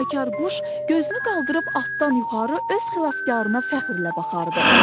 Nəğməkar quş gözünü qaldırıb altdan yuxarı öz xilaskarına fəxrlə baxardı.